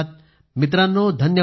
मित्रांनो धन्यवाद